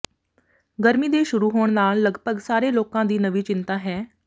ਗਰਮੀ ਦੇ ਸ਼ੁਰੂ ਹੋਣ ਨਾਲ ਲਗਭਗ ਸਾਰੇ ਲੋਕਾਂ ਦੀ ਨਵੀਂ ਚਿੰਤਾ ਹੈ